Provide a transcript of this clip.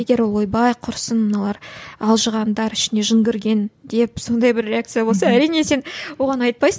егер ол ойбай құрысын мыналар алжығандар ішіне жын кірген деп сондай бір реакция болса әрине сен оған айтпайсың